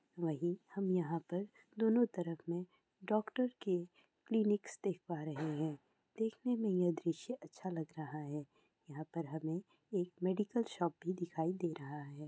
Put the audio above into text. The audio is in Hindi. वहीं हम यहाँ पर दोनों तरफ में डॉक्टर्स के क्लिनिक्स देख पा रहे है देखने में यह दृश्य अच्छा लग रहा है| यहाँ पर हमें एक मेडिकल शॉप भी दिखाई दे रहा है।